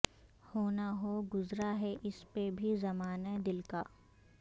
ہو نہ ہو گذرا ہے اس پہ بھی زمانہ دل کا